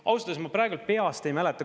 Ausalt öeldes ma praegu peast ei mäleta.